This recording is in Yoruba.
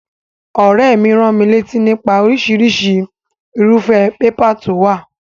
Òréè mi ránmilátí nípa orísirísi irúfé paper to wò